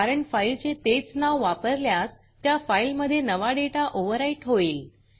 कारण फाईलचे तेच नाव वापरल्यास त्या फाईलमधे नवा डेटा ओवरराइट होईल